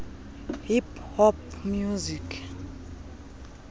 hip hop music